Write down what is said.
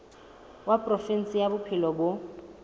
wa provinse ya bophelo bo